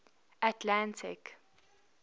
atlantic